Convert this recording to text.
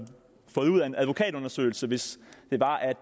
fået ud af en advokatundersøgelse hvis